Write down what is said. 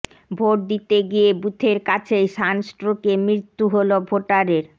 vote দিতে গিয়ে বুথের কাছেই সানস্ট্রোকে মৃত্যু হল ভোটারের